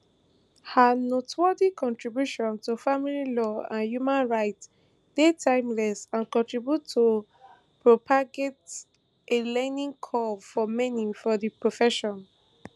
her noteworthy contributions to family law and human rights dey timeless and continue to propagate a learning curve for many for di profession